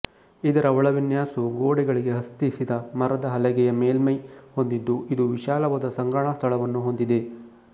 ಇದರ ಒಳವಿನ್ಯಾಸವು ಗೋಡೆಗಳಿಗೆ ಹತ್ತಿಸಿದ ಮರದ ಹಲಗೆಯ ಮೇಲ್ಮೈ ಹೊಂದಿದ್ದು ಇದು ವಿಶಾಲವಾದ ಸಂಗ್ರಹಣಾ ಸ್ಥಳವನ್ನು ಹೊಂದಿದೆ